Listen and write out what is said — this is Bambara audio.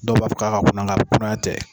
Dɔw b'a fɔ k'a kunan nga kunaya tɛ.